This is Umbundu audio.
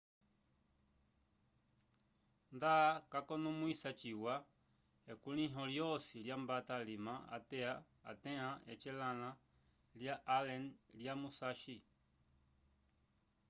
nda cakonomwisiwa ciwa ekulῖho lyosi lyambata alima atẽa ecelãla lya allen lya musashi